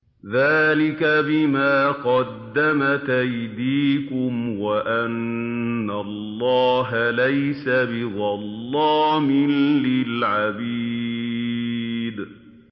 ذَٰلِكَ بِمَا قَدَّمَتْ أَيْدِيكُمْ وَأَنَّ اللَّهَ لَيْسَ بِظَلَّامٍ لِّلْعَبِيدِ